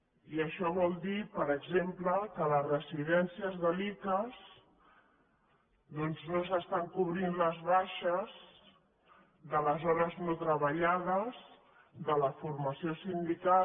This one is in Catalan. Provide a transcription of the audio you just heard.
i això vol dir per exemple que a les residències de l’icass doncs no es cobreixen les baixes de les hores no treballades de la formació sindical